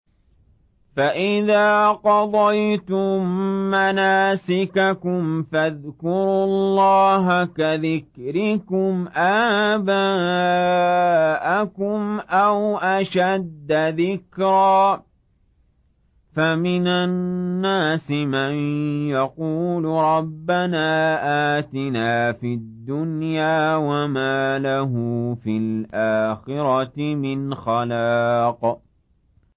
فَإِذَا قَضَيْتُم مَّنَاسِكَكُمْ فَاذْكُرُوا اللَّهَ كَذِكْرِكُمْ آبَاءَكُمْ أَوْ أَشَدَّ ذِكْرًا ۗ فَمِنَ النَّاسِ مَن يَقُولُ رَبَّنَا آتِنَا فِي الدُّنْيَا وَمَا لَهُ فِي الْآخِرَةِ مِنْ خَلَاقٍ